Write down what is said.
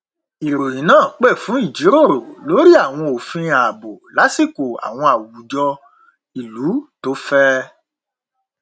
ìròyìn náà pè fún ìjíròrò lórí àwọn òfin ààbò lásìkò àwọn àwùjọ ìlú tó fẹ